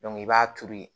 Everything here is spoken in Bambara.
i b'a turu